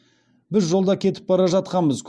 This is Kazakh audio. біз жолда кетіп бара жатқанбыз